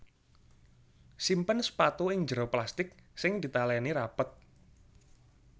Simpen sepatu ing njero plastik sing ditaléni rapet